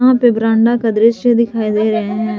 यहां पे बरांडा का दृश्य दिखाई दे रहे हैं।